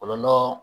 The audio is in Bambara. O bɛ nɔnɔ